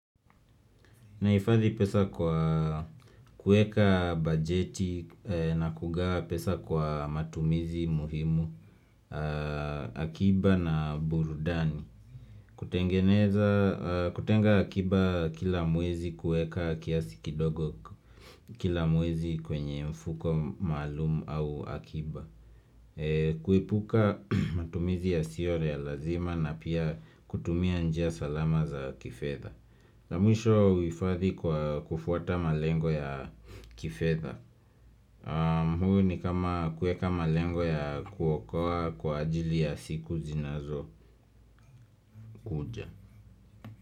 Nahifadhi pesa kwa kueka bajeti na kugawa pesa kwa matumizi muhimu akiba na burudani kutengeneza kutenga akiba kila mwezi kueka kiasi kidogo kila mwezi kwenye mfuko maalumu au akiba kuepuka matumizi yasiore ya lazima na pia kutumia njia salama za kifedha na mwisho huifadhi kwa kufuata malengo ya kifedha huu ni kama kueka malengo ya kuokoa kwa ajili ya siku zinazokuja.